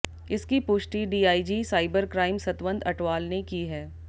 इसकी पुष्टि DIG cyber crime Satwant Atwal ने की है